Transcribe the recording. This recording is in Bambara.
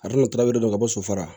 A kana don ka bɔ so fara